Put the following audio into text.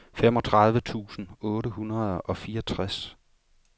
femogtredive tusind otte hundrede og fireogtres